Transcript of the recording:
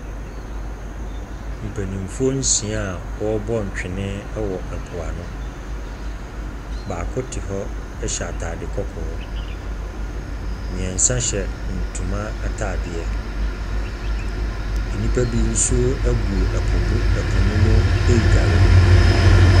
Mpanimfoɔ nsia a wɔrebɔ ntwene wɔ ɛpo ano. Baako te hɔ hyɛ ataade kɔkɔɔ. mmiɛnsa hyɛ ntoma ataadeɛ. Nnipa bi nso gu ɛpo bu ɛpo no mu redware.